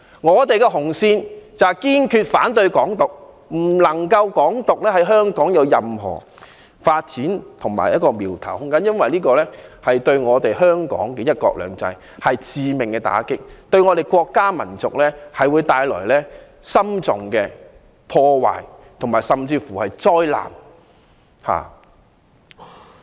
我們的紅線是堅決反對"港獨"，不能讓"港獨"在香港有任何苗頭和發展空間，因為這對香港的"一國兩制"是致命打擊，對我們的國家民族會帶來嚴重破壞、災難。